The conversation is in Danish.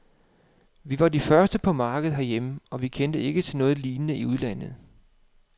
Vi var de første på markedet herhjemme, og vi kendte ikke til noget lignende i udlandet.